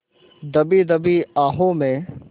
दबी दबी आहों में